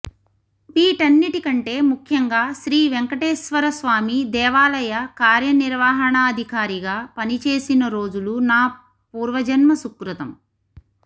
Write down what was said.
వీటన్నిటికంటే ముఖ్యంగా శ్రీ వేంకటేశ్వరస్వామి దేవాలయ కార్యనిర్వహణాధికారిగా పనిచేసిన రోజులు నా పూర్వజన్మ సుకృతం